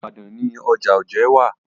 Ìlú Ìbàdàn ni ọjà Ojé wà.